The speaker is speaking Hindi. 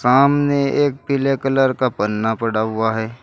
सामने एक पीले कलर का पन्ना पड़ा हुआ है।